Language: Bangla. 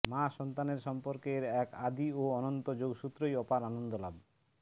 মা সন্তানের সম্পর্কের এক আদি ও অনন্ত যোগসূত্রই অপার আনন্দ লাভ